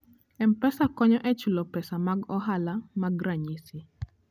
M-Pesa konyo e chulo pesa mag ohala mag ranyisi.